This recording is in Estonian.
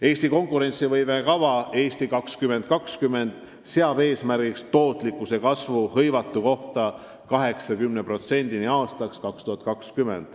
Eesti konkurentsivõime kava "Eesti 2020" seab eesmärgiks suurendada aastaks 2020 tootlikkus hõivatu kohta 80%-ni Euroopa Liidu keskmisest.